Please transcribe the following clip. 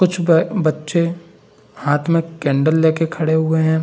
कुछ ब-बच्चे हाथ में कैंडल लेके खड़े हुए हैं।